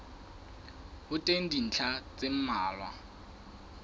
ho teng dintlha tse mmalwa